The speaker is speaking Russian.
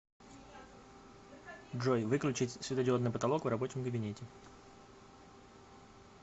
джой выключить светодиодный потолок в рабочем кабинете